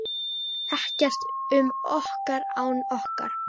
Ekkert um okkur án okkar!